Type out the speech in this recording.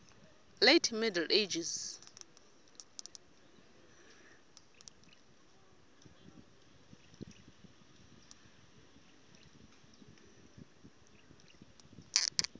late middle ages